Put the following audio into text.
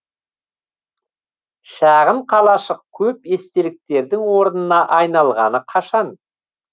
шағын қалашық көп естеліктердің орнына айналғалы қашан